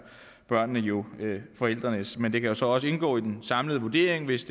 børnene jo forældrenes men det kan jo så også indgå i en samlet vurdering hvis